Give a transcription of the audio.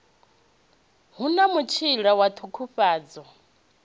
hu na mutshila wa ṱhukhufhadzo